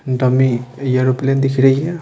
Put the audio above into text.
Dummy ये aeroplane दिख रही है।